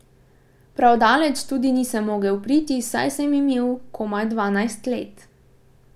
Prav daleč tudi nisem mogel priti, saj sem imel komaj dvanajst let.